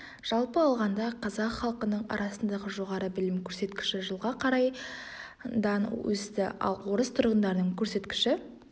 жалпы алғанда қазақ халқының арасындағы жоғары білім көрсеткіші жылға қарай дан ға өсті ал орыс тұрғындарының көрсеткіші